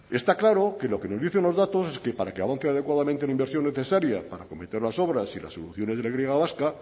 está claro que lo que nos dicen los datos es que para que avance adecuadamente la inversión necesaria para acometer las obras y las de la y vasca